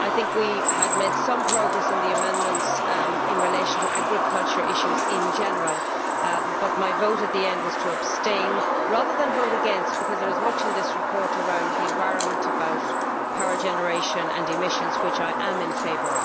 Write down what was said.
We made some progress in the amendments in relation to agricultural issues in general, but my vote in the end was to abstain, rather than vote against, because there is much in this report around the environment, about power generation and emissions of which I am in favour.